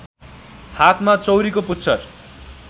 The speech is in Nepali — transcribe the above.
हातमा चौरीको पुच्छर